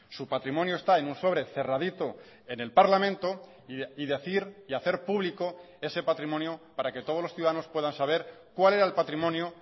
su patrimonio está en un sobre cerradito en el parlamento y decir y hacer público ese patrimonio para que todos los ciudadanos puedan saber cuál era el patrimonio